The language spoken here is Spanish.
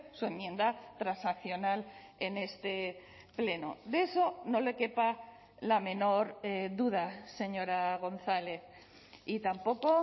su enmienda transaccional en este pleno de eso no le quepa la menor duda señora gonzález y tampoco